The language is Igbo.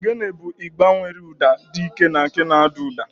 Ogene bụ igba nwere ụda dị ike na nke na-ada ụda.